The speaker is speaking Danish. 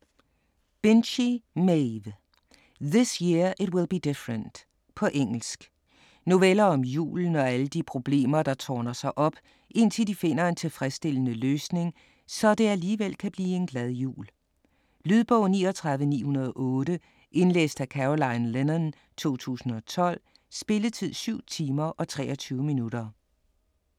Binchy, Maeve: This year it will be different På engelsk. Noveller om julen og alle de problemer der tårner sig op, indtil de finder en tilfredsstillende løsning, så det alligevel kan blive en glad jul. Lydbog 39908 Indlæst af Caroline Lennon, 2012. Spilletid: 7 timer, 23 minutter.